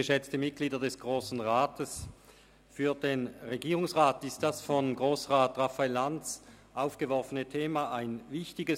Für den Regierungsrat ist das von Grossrat Lanz aufgeworfene Thema wichtig.